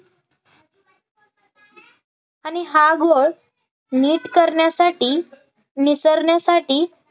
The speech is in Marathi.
आणि हा घोळ नीट करण्यासाठी निसरण्यासाठी